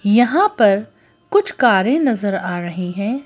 यहाँ पर कुछ कारें नजर आ रही हैं।